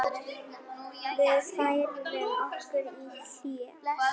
Við færðum okkur í hléi.